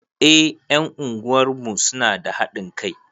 Eh ƴan unguwarmu suna da haɗin kai